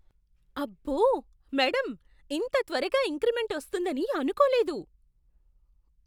అబ్బో, మేడమ్! ఇంత త్వరగా ఇంక్రిమెంట్ వస్తుందని అనుకోలేదు!